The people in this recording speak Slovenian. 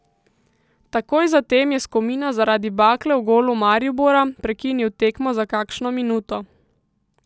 Takoj zatem je Skomina zaradi bakle v golu Maribora prekinil tekmo za kakšno minuto.